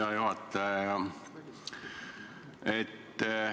Hea juhataja!